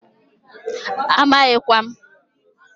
Amaghikwa m.